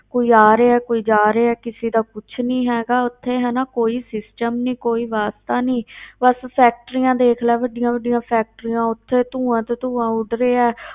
ਕੋਈ ਆ ਰਿਹਾ ਕੋਈ ਜਾ ਰਿਹਾ ਹੈ, ਕਿਸੇ ਦਾ ਕੁਛ ਨੀ ਹੈਗਾ ਉੱਥੇ ਹਨਾ ਕੋਈ system ਨੀ ਕੋਈ ਵਾਸਤਾਂ ਨੀ ਬਸ factories ਦੇਖ ਲੈ ਵੱਡੀਆਂ ਵੱਡੀਆਂ factories ਉੱਥੇ ਧੂੰਆ ਤੇ ਧੂੰਆ ਉੱਡ ਰਿਹਾ ਹੈ,